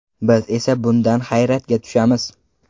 Biz esa bundan hayratga tushamiz” .